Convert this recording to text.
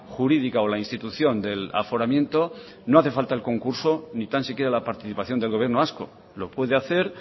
jurídica o la institución del aforamiento no hace falta el concurso ni tan siquiera la participación del gobierno vasco lo puede hacer